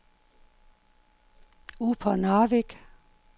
Upernavik